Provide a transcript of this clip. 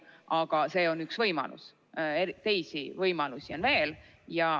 Aga see on üks võimalus, teisi võimalusi on veel.